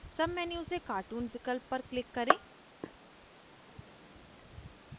submenu से cartoon विकल्प पर click करें